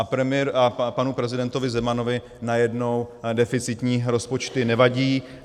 A panu prezidentovi Zemanovi najednou deficitní rozpočty nevadí.